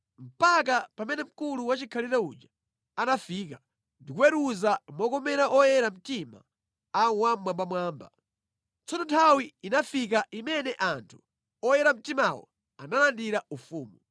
mpaka pamene Mkulu Wachikhalire uja anafika ndi kuweruza mokomera oyera mtima a Wammwambamwamba. Tsono nthawi inafika imene anthu oyera mtimawo analandira ufumu.